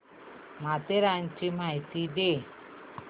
माथेरानची माहिती दे